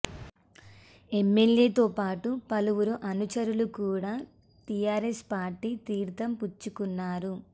ఎమ్మెల్యేతో పాటూ పలువురు అనుచరులు కూడా టీఆర్ఎస్ పార్టీ తీర్థం పుచ్చుకున్నారు